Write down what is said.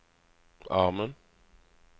armen